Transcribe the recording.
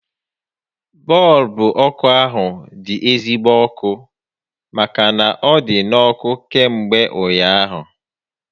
Bọọlbụ ọkụ ahu dị ezigbo ọkụ màkà na ọ dị n'ọkụ kamgbe ụnyaahụ